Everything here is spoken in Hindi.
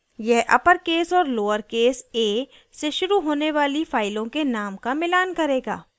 यह अपरकेस और लोअरकेस a से शुरू होने वाली फाइलों के names का मिलान करेगा